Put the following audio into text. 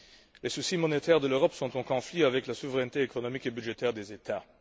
Les soucis monétaires de l'Europe sont en conflit avec la souveraineté économique et budgétaire des États.